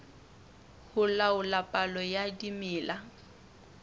ho laola palo ya dimela